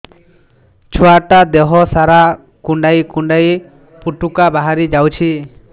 ଛୁଆ ଟା ଦେହ ସାରା କୁଣ୍ଡାଇ କୁଣ୍ଡାଇ ପୁଟୁକା ବାହାରି ଯାଉଛି